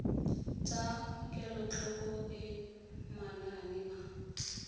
tsa kelotlhoko le manane a